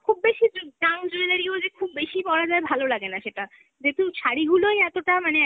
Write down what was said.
খুব বেশি জ~ junk jewelry ও যে খুব বেশি পরা যায় ভালো লাগে না সেটা, যেহেতু শাড়িগুলোই এতটা মানে